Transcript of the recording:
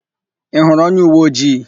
Ị hụrụ onyeuweojii?